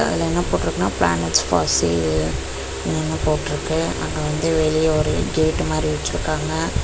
இங்க என்ன போட்ருக்குனா பிளானட்ஸ் ஃபார் சேல் ன்னு போட்ருக்கு அங்க வந்து வெளிய ஒரு கேட் மாரி வெச்சுருக்காங்க.